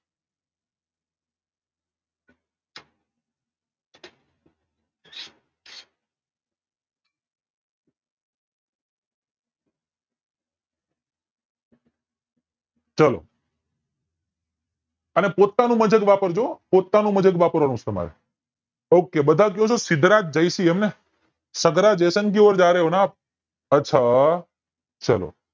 ચાલો અને પોતાનું મગજ વાપરજો હૂં પોતાનું મગજ વાપરવાનું છે તમારે okay સિદ્ધરાજ જયસિંહ એમ ને કી ઔર જ રહે હો ના આપ અચ્છા ચાલો ચાલો